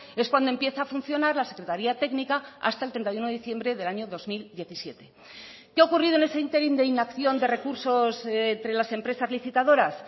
es cuando empieza a funcionar la secretaria técnica hasta el treinta y uno de diciembre del año dos mil diecisiete qué ha ocurrido en ese ínterin de inacción de recursos entre las empresas licitadoras